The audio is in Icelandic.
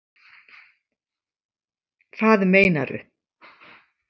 Hvað meinaru